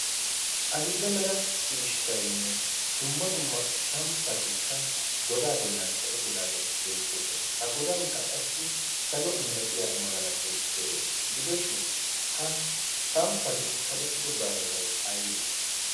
adill''e mera ciishshainne dumma dumma samppatikka godaa bollan kaqettidaagee beettoosona a godankka qassi salo milatiyaa magalasho de'ees' gidoshin ha samppati kaqettido gaasotai aiwu